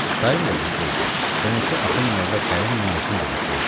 Dayım da bizdə idi, qonşu Axund Molla Kərim Müəzzin də bizdə idi.